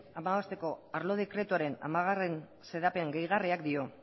hamabosteko arlo dekretuaren hamargarrena xedapen gehigarriak dio